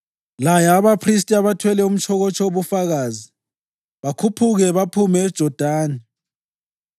“Laya abaphristi abathwele umtshokotsho woBufakazi bakhuphuke baphume eJodani.”